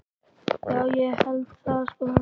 Já, ég held það sko.